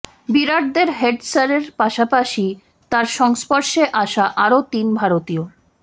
বিরাটদের head স্যারের পাশাপাশি তাঁর সংস্পর্শে আসা আরও তিন ভারতীয়